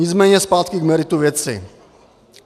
Nicméně zpátky k meritu věci.